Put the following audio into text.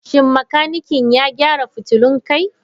Shin makanikin ya gyara fitulun kai?